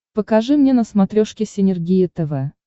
покажи мне на смотрешке синергия тв